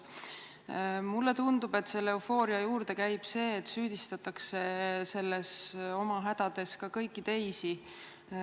Mulle tundub, et selle eufooria juurde käib see, et oma hädades süüdistatakse ka kõiki teisi.